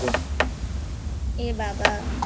এ বাবা।